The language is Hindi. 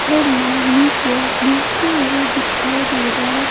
झरना नीचे गिरते हुए दिखाई दे रहा है।